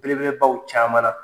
belebelebaw caman na